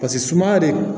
Paseke suma de